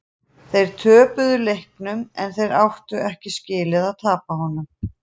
Þeir töpuðu leiknum en þeir áttu ekki skilið að tapa honum.